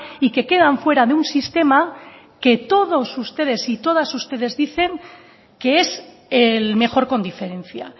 y que quedan fuera de un sistema que todos ustedes y todas ustedes dicen que es el mejor con diferencia